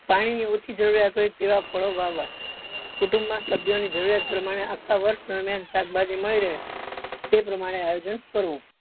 પાણી ની ઓછી જરૂરીયાત હોય તેવા ફળો વાવવા કુટુંબ માં સભ્યો ની જરૂરિયાત પ્રમાણે આખા વર્ષ દરમિયાન શાકભાજી મળી રહે તે પ્રમાણે આયોજન કરવું.